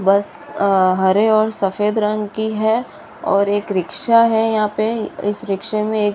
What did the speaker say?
बस अ हरे और सफ़ेद रंग की है और एक रिक्शा है यहाँ पे इस रिक्शे में एक --